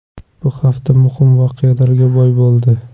Bu hafta muhim voqealarga boy bo‘ldi.